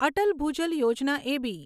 Atal Bhujal Yojana એબી